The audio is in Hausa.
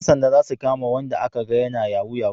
Yan sanda za su kama wayanda a ka ga yana yahu yahu